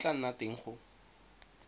e tla nna teng go